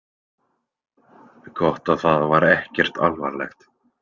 Gott að það var ekkert alvarlegt.